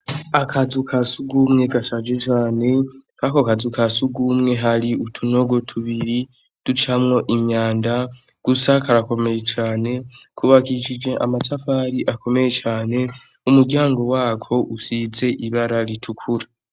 Akazu ka sugumwe gashaje cane, kwako kazu kasugumwe hari utunogo tubiri ducamwo imyanda, gusa karakomeye cane, kuko kubashije amatafari akomeye cane, umuryango wako isize irangi ritukura.